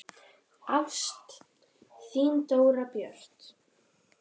Ást, þín Dóra Björt.